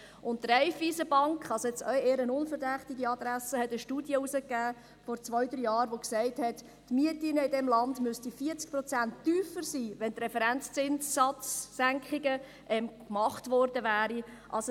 Die Raiffeisen Bank – also eher eine unverdächtige Adresse – hat vor zwei, drei Jahren eine Studie herausgegeben, welche sagt, dass die Mieten in diesem Land um 40 Prozent tiefer sein müssten, wenn die Referenzzinssatzsenkungen gemacht worden wären.